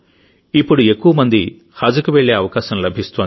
ఇప్పుడు ఎక్కువ మంది హజ్కి వెళ్లే అవకాశం లభిస్తోంది